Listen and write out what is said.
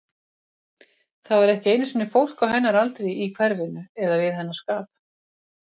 Það var ekki einu sinni fólk á hennar aldri í hverfinu, eða við hennar skap.